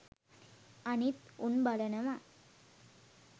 අනිත් උන් බලනව